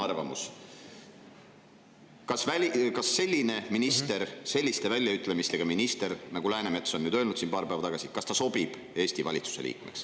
Öelge nüüd palun enda arvamus selle kohta, kas selliste väljaütlemistega minister nagu Läänemets – paar päeva tagasi ta öeldut – sobib Eesti valitsuse liikmeks.